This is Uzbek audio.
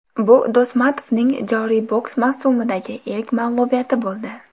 Bu Do‘smatovning joriy boks mavsumidagi ilk mag‘lubiyati bo‘ldi.